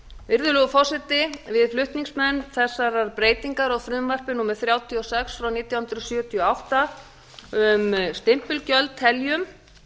virðulegur forseti við flutningsmenn þessar breytingar á frumvarpi númer þrjátíu og sex nítján hundruð sjötíu og átta um stimpilgjöld teljum